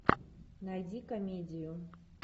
найди комедию